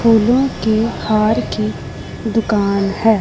फूलों के हार की दुकान है।